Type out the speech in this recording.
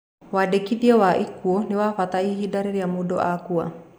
Wandĩkithia wa ikuũ nĩ wabata ihinda rĩrĩa mũndũ akua.